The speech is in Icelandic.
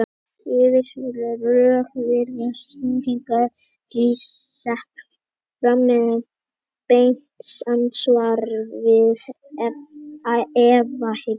Yfirskilvitleg rök virðast því sett fram sem beint andsvar við efahyggju.